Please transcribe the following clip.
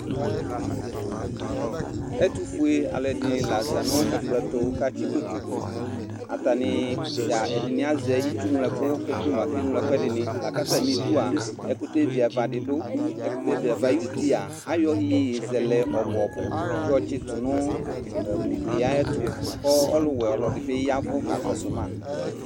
Ɛtʋfue alʋɛdɩnɩ la za nʋ ɛkplɔ tʋ kʋ atsɩkoto dʋ Atanɩ dza ɛdɩnɩ azɛ itsuŋloɛkʋ kʋ ekele mʋ akeŋlo ɛkʋɛdɩnɩ la kʋ atamɩdu a, ɛkʋtɛ vɩava dɩnɩ dʋ Ɛkʋtɛ vɩava ayuti a, ayɔ iyeyezɛlɛ ɔbʋ-ɔbʋ yɔtsɩtʋ nʋ ugli yɛ ayɛtʋ kʋ ɔlʋwɛ ɔlɔdɩ bɩ ya ɛvʋ kakɔsʋ ma